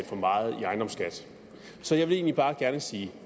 for meget i ejendomsskat så jeg vil egentlig bare gerne sige